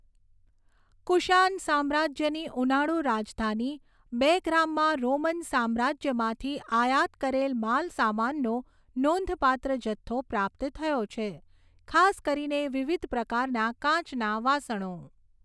કુશાન સામ્રાજ્યની ઉનાળું રાજધાની બેગ્રામમાં રોમન સામ્રાજ્યમાંથી આયાત કરેલ માલસામાનનો નોંધપાત્ર જથ્થો પ્રાપ્ત થયો છે, ખાસ કરીને વિવિધ પ્રકારના કાચના વાસણો.